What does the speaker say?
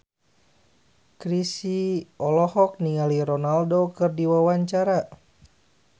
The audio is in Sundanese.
Chrisye olohok ningali Ronaldo keur diwawancara